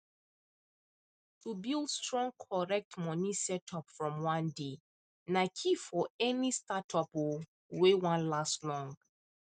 to build strong correct money setup from one day na key for any startup um wey wan last long